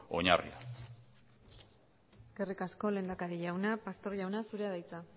oinarria eskerrik asko lehendakari jauna pastor jauna zurea da hitza